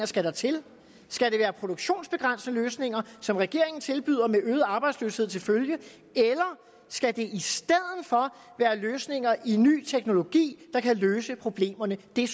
skal til skal det være produktionsbegrænsende løsninger som regeringen tilbyder med øget arbejdsløshed til følge eller skal det i stedet for være løsninger i ny teknologi der kan løse problemerne det